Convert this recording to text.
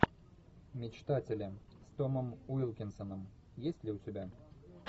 мечтатели с томом уилкинсоном есть ли у тебя